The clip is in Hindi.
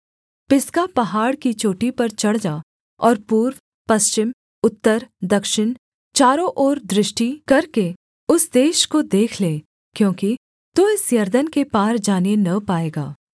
पिसगा पहाड़ की चोटी पर चढ़ जा और पूर्व पश्चिम उत्तर दक्षिण चारों ओर दृष्टि करके उस देश को देख ले क्योंकि तू इस यरदन के पार जाने न पाएगा